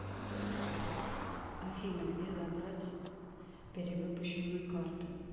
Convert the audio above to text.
афина где забрать перевыпущенную карту